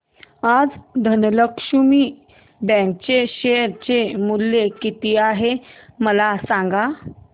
आज धनलक्ष्मी बँक चे शेअर चे मूल्य किती आहे मला सांगा